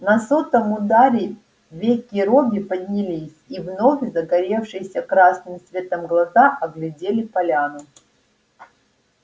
на сотом ударе веки робби поднялись и вновь загоревшиеся красным светом глаза оглядели поляну